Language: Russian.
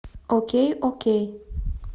окей окей